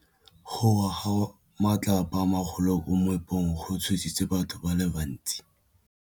Go wa ga matlapa a magolo ko moepong go tshositse batho ba le bantsi.